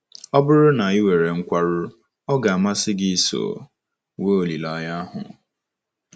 Ọ bụrụ na i nwere nkwarụ, ọ̀ ga - amasị gị iso nwee olileanya ahụ?